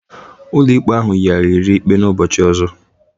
Ụlọikpe ahụ yigharịrị ikpe a n'ụbọchị ọzọ.